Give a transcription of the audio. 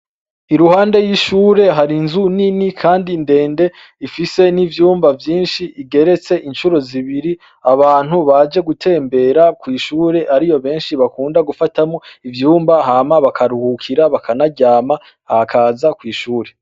Iruhande y'ishure hari inzu nini kandi ndende ifise n'ivyumba vyinshi igeretse incuro zibiri. Abantu baje gutembera kw'ishure ariyo benshi bakunda gufatamwo ivyumba hama bakaruhukira, bakanaryama, bakaza kw'ishure.